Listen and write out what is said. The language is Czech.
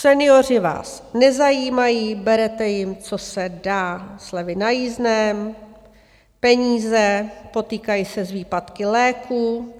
Senioři vás nezajímají, berete jim, co se dá, slevy na jízdném, peníze, potýkají se s výpadky léků.